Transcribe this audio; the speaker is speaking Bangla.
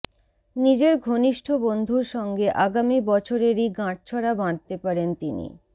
নিজের ঘনিষ্ঠ বন্ধুর সঙ্গে আগামী বছরেরই গাঁটছড়া বাঁধতে পারেন তিনি